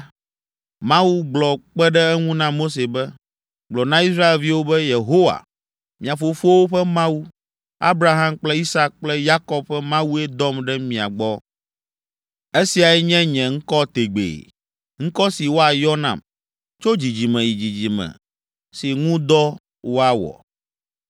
Mawu gblɔ kpe ɖe eŋu na Mose be, “Gblɔ na Israelviwo be, ‘Yehowa, mia fofowo ƒe Mawu, Abraham kple Isak kple Yakob ƒe Mawue dɔm ɖe mia gbɔ.’ “Esiae nye nye ŋkɔ tegbee, ŋkɔ si woayɔ nam tso dzidzime yi dzidzime si ŋu dɔ woawɔ.